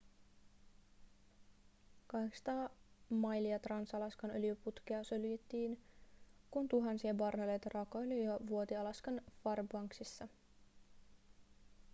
800 mailia trans-alaskan öljyputkea suljettiin kun tuhansia barreleita raakaöljyä vuoti alaskan fairbanksissa